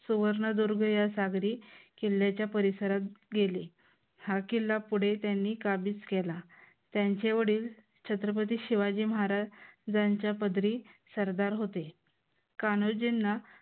सुवर्णदुर्ग या सागरी किल्ल्याच्या परिसरात गेली. हा किल्ला त्यांनी पुढे काबीज केला. त्यांचे वडील छत्रपती शिवाजी महाराजांच्या पदरी सरदार होते. कान्होजींना